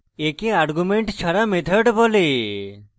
একে arguments ছাড়া method বলে